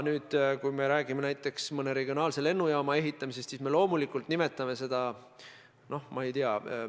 Kui me räägime näiteks mõne regionaalse lennujaama ehitamisest, siis me loomulikult nimetame seda investeeringuks.